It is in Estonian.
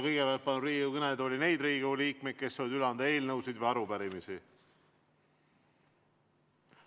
Kõigepealt palun kõnetooli neid Riigikogu liikmeid, kes soovivad üle anda eelnõusid või arupärimisi.